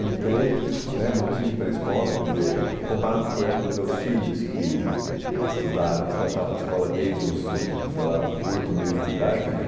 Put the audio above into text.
Entrei né, não tive pré-escola, ãh, quer dizer, comparado, por exemplo, com os meus filhos que estudaram, que estudaram estavam em escola desde os, os, sei lá, oito meses de idade, né?